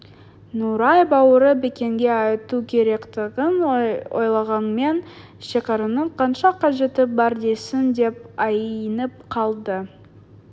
нұрай бауыры бекенге айту керектігін ойлағанмен шекараның қанша қажеті бар дейсің деп айнып қалды